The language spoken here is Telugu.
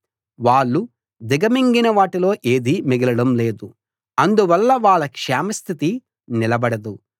వాళ్ళు దిగమింగిన వాటిలో ఏదీ మిగలడం లేదు అందువల్ల వాళ్ళ క్షేమ స్థితి నిలబడదు